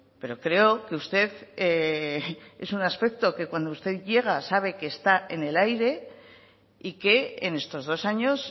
pero creo que usted es un aspecto que cuando usted llega sabe que está en el aire y que en estos dos años